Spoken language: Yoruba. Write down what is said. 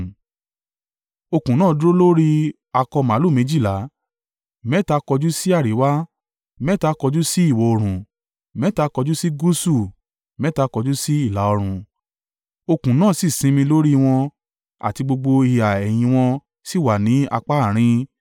Okùn náà dúró lórí akọ màlúù méjìlá, mẹ́ta kọjú sí àríwá, mẹ́ta kọjú sí ìwọ̀-oòrùn, mẹ́ta kọjú sí gúúsù mẹ́ta kọjú sí ìlà-oòrùn. Òkun náà sì sinmi lórí wọn àti gbogbo ìhà ẹ̀yìn wọn sì wà ní apá àárín.